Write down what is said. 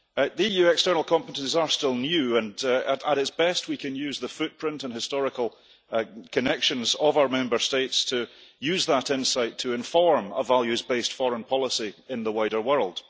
The EU external competences are still new, and at best we can use the footprint and historical connections of our Member States to use that insight to inform a values based foreign policy in the wider world.